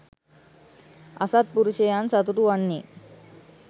අසත්පුරුෂයන් සතුටු වන්නේ